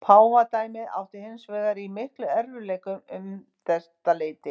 Páfadæmið átti hins vegar í miklum erfiðleikum um þetta leyti.